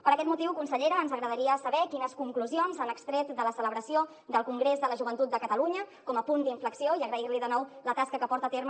per aquest motiu consellera ens agradaria saber quines conclusions han extret de la celebració del congrés de la joventut de catalunya com a punt d’inflexió i agrair li de nou la tasca que porta a terme